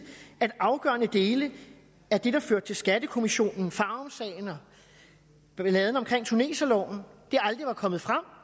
at afgørende dele af det der førte til skattekommissionen farumsagen og balladen omkring tuneserloven aldrig var kommet frem